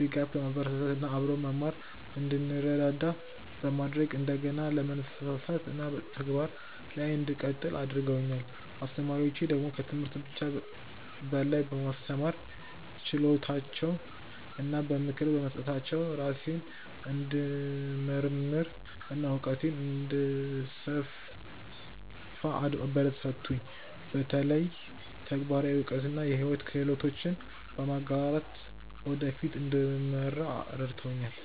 ድጋፍ፣ በማበረታታት እና በአብሮ መማር እንድንረዳዳ በማድረግ እንደገና ለመነሳሳት እና በተግባር ላይ እንድቀጥል አግርገደዋል። አስተማሪዎቼ ደግሞ ከትምህርት ብቻ በላይ በማስተማር ችሎታቸው እና በምክር በመስጠታቸው ራሴን እንድመርምር እና እውቀቴን እንድሰፋ አበረታቱኝ፤ በተለይ ተግባራዊ እውቀት እና የሕይወት ክህሎቶችን በመጋራት ወደ ፊት እንድመራ ረድተውኛል።